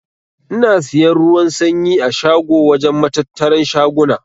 Ina siyan ruwan sanyi a shago wajen matattaran shaguna.